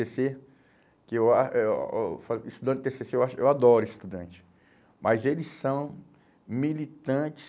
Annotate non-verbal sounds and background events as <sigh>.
cê, que eu a, eu, <unintelligible> estudante de tê cê cê, eu acho, eu adoro estudante, mas eles são militantes